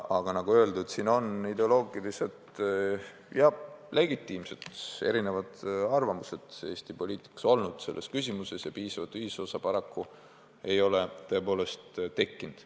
Aga nagu öeldud, Eesti poliitikas on selles küsimuses olnud ideoloogilised ja legitiimsed erinevad arvamused ja piisavat ühisosa paraku ei ole tõepoolest tekkinud.